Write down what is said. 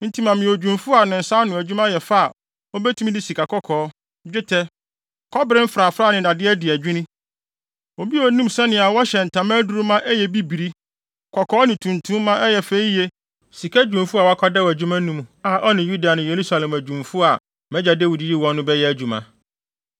“Enti ma me odwumfo a ne nsa ano adwuma yɛ fɛ a obetumi de sikakɔkɔɔ, dwetɛ, kɔbere mfrafrae ne nnade adi adwinni; obi a onim sɛnea wɔhyɛ ntama aduru ma ɛyɛ bibiri, kɔkɔɔ ne tuntum ma ɛyɛ fɛ yiye ne sika dwumfo a wakwadaw adwuma mu, a ɔne Yuda ne Yerusalem adwumfo a mʼagya Dawid yii wɔn no bɛyɛ adwuma.